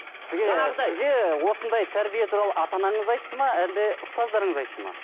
сізге осындай тәрбие туралы ата анаңыз айтты ма әлде ұстаздарыңыз айтты ма